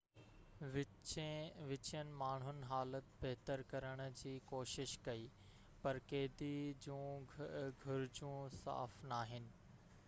وچين ماڻهو حالت بهتر ڪرڻ جي ڪوشش ڪئي پر قيدي جون گهرجون صاف ناهن